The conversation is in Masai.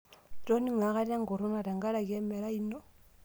Itoning'o akata enkurruna tenkaraki emerai ino?